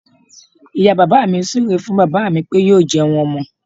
Ìyá bàbá mi súu ré fún bàbá mí pé yóò jẹun ọmọ.